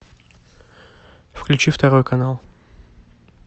включи второй канал